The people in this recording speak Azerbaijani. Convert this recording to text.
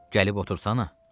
Gəlib otursana.